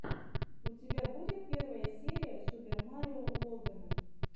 у тебя будет первая серия супер марио логана